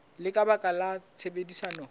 le ka baka la tshebedisano